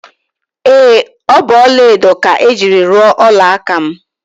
Ee, ọ bụ ọla edo ka e jiri ruo ọla aka m